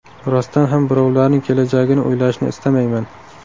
Rostdan ham birovlarning kelajagini o‘ylashni istamayman.